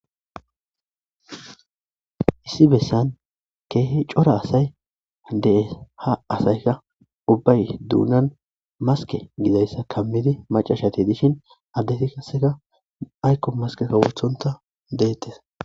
Issi bessan keehe cora asay dee ha asayka ubbay duunan maske gidayssa kammidi macashati dishin addeti kaseka aykko maskeka wothonta deettes